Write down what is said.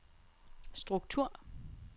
struktur